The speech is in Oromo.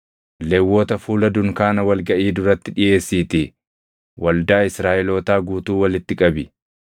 Lewwota fuula dunkaana wal gaʼii duratti dhiʼeessiitii waldaa Israaʼelootaa guutuu walitti qabi.